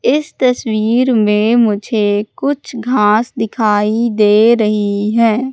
इस तस्वीर में मुझे कुछ घास दिखाई दे रही है।